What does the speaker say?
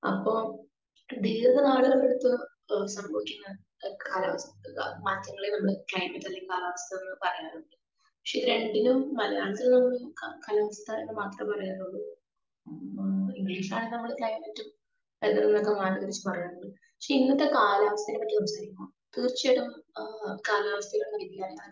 speaker 2